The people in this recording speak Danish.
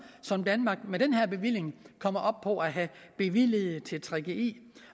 som danmark med den her bevilling kommer op på at have bevilget til gggi